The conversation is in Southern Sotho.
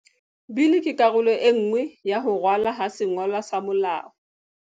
Bili ke karolo enngwe ya ho ralwa ha sengolwa sa molao.